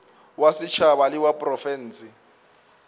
wa setšhaba le wa profense